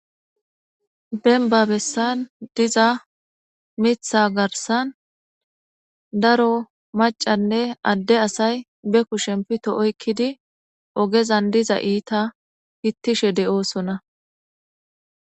Denba bessan diza mitha garsan daro macanne adde asay be ku shempito oykkidi ogezan diza iita hittishe de'oosona